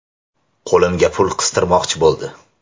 Qo‘limga pul qistirmoqchi bo‘ldi.